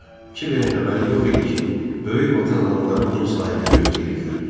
Kiverin xəbəri yox idi ki, böyük vadın adamları onu sahildə gözləyirdilər.